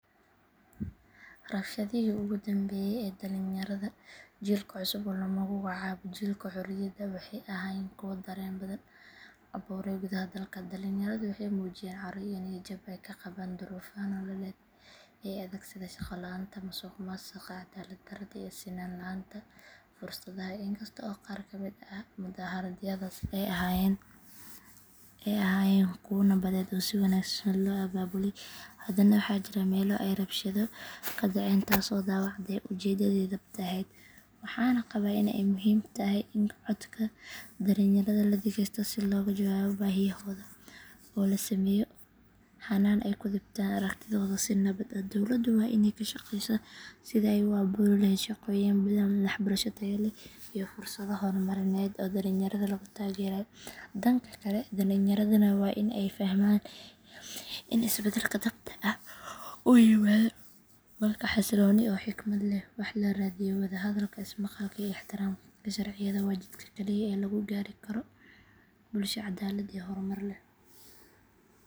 Rabshadihii ugu dambeeyey ee dhalinyarada jiilka cusub ee lagu magacaabo jiilkii xorriyadda waxay ahaayeen kuwo dareen badan abuurey gudaha dalka. Dhalinyaradu waxay muujiyeen caro iyo niyad jab ay ka qabaan duruufaha nololeed ee adag sida shaqo la’aanta, musuqmaasuqa, cadaalad darrada iyo sinaan la’aanta fursadaha. Inkasta oo qaar ka mid ah mudaharaadyadaas ay ahaayeen kuwo nabadeed oo si wanaagsan loo abaabulay, haddana waxaa jiray meelo ay rabshado ka dhaceen taasoo dhaawacday ujeeddadii dhabta ahayd. Waxaan qabaa in ay muhiim tahay in codka dhalinyarada la dhegeysto si looga jawaabo baahiyahooda oo loo sameeyo hannaan ay ku dhiibtaan aragtidooda si nabad ah. Dowladdu waa inay ka shaqeysaa sidii ay u abuuri lahayd shaqooyin badan, waxbarasho tayo leh iyo fursado horumarineed oo dhalinyarada lagu taageerayo. Dhanka kale, dhalinyaradana waa in ay fahmaan in isbeddelka dhabta ah uu yimaado marka si xasilloon oo xikmad leh wax loo raadiyo. Wadahadalka, ismaqalka iyo ixtiraamka sharciyada waa jidka kaliya ee lagu gaari karo bulsho cadaalad iyo horumar leh.